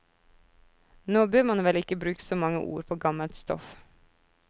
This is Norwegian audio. Nå bør man vel ikke bruke så mange ord på gammelt stoff.